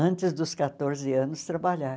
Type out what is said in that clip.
antes dos quatorze anos, trabalhar.